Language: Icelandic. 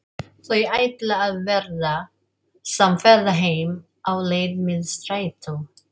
Þau ætla að verða samferða heim á leið með strætó.